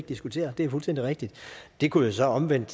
diskutere det er fuldstændig rigtigt det kunne jo så omvendt